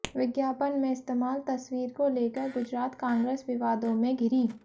विज्ञापन में इस्तेमाल तस्वीर को लेकर गुजरात कांग्रेस विवादों में घिरी